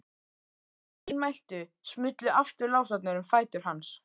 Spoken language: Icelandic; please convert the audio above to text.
Að því mæltu smullu aftur lásarnir um fætur hans.